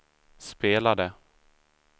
spelade